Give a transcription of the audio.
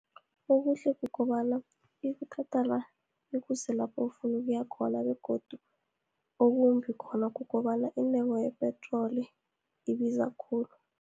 Ubuhle kukobana, ikuthatha la, ikuse lapha ufuna ukuya khona, begodu okumbi khona kukobana intengo yepetroli ibiza khulu.